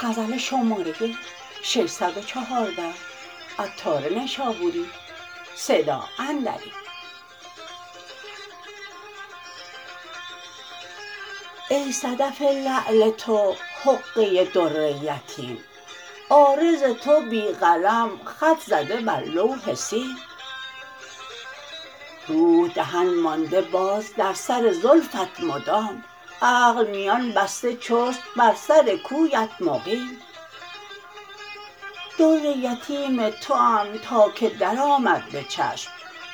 ای صدف لعل تو حقه در یتیم عارض تو بی قلم خط زده بر لوح سیم روح دهن مانده باز در سر زلفت مدام عقل میان بسته چست بر سر کویت مقیم در یتیم توام تا که درآمد به چشم